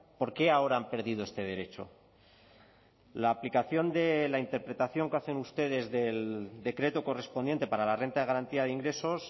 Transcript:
por qué ahora han perdido este derecho la aplicación de la interpretación que hacen ustedes del decreto correspondiente para la renta de garantía de ingresos